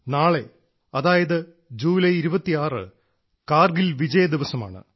നാളെ അതായത് ജൂലൈ 26 കാർഗിൽ വിജയ ദിവസമാണ്